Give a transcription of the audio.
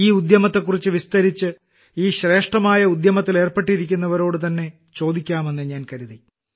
ഈ ഉദ്യമത്തെക്കുറിച്ച് വിസ്തരിച്ച് ഈ ശ്രേഷ്ഠമായ ഉദ്യമത്തിലേർപ്പെട്ടിരിക്കുന്നവരോടുതന്നെ ചോദിക്കാമെന്നു ഞാൻ കരുതി